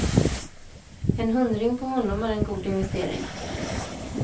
En hundring på honom är en god investering.